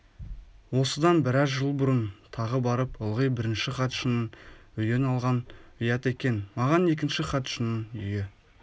осыдан бңраз жыл бұрын тағы барып ылғи бірінші хатшының үйін алған ұят екен маған екінші хатшының үйі